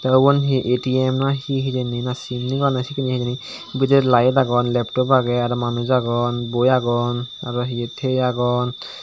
te ubon hi etiem na hi hijeni na sim nigilanne sekken ye hijeni bidire layit agon leptop agey arow manuj agon boi agon arow hiye tigey agon.